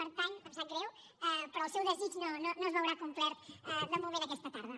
per tant em sap greu però el seu desig no es veurà complert de moment aquesta tarda